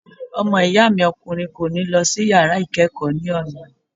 Ọmọ ìyá mi ọkùnrin kò ní lọ sí yàrá ìkẹ́kọ̀ọ́ ní ọ̀la.